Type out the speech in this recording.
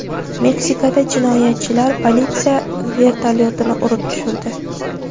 Meksikada jinoyatchilar politsiya vertolyotini urib tushirdi.